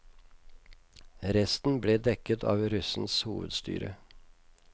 Resten ble dekket av russens hovedstyre.